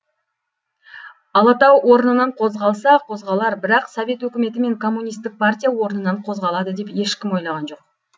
алатау орнынан қозғалса қозғалар бірақ совет өкіметі мен коммунистік партия орнынан қозғалады деп ешкім ойлаған жоқ